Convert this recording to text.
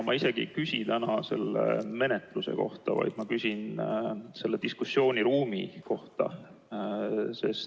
Ma ei küsi täna selle menetluse kohta, vaid küsin selleteemalise diskussiooni kohta.